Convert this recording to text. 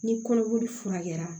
Ni kɔnɔboli furakɛra